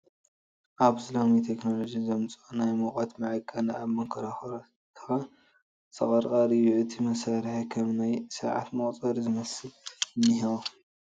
ኣብዚ ሎሚ ቴክኖሎጂ ዘምፀኦ ናይ ሙቐት መዐቐኒ ኣብ መንኮራርዕትኻ ዝቕርቐር እዩ፡ እቲ መሳርሒ ከም ናይ ሰዓት መቑፀሪ ዝመስል እንሄዎ ።